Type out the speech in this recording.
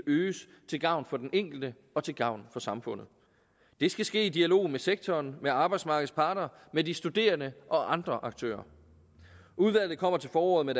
øges til gavn for den enkelte og til gavn for samfundet det skal ske i dialog med sektoren med arbejdsmarkedets parter med de studerende og andre aktører udvalget kommer til foråret med